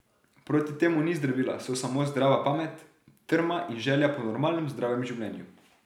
Proti temu ni zdravila, so samo zdrava pamet, trma in želja po normalnem, zdravem življenju.